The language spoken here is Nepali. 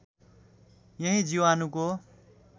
यही जीवाणुको